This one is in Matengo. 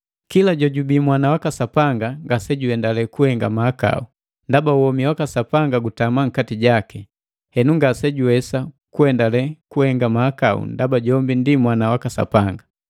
Kila jojubii mwana waka Sapanga ngasejuhendale kuhenga mahakau, ndaba womi waka Sapanga gutama nkati jaki, henu ngasejuwesa kuendale kuhenga mahakau ndaba jombi ndi mwana waka Sapanga.